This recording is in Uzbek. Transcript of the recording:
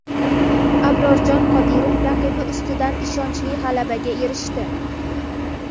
Abrorjon Qodirov raqibi ustidan ishonchli g‘alabaga erishdi.